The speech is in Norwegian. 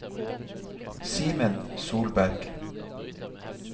Simen Solberg